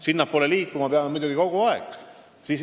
Sinnapoole liikuma peame muidugi kogu aeg.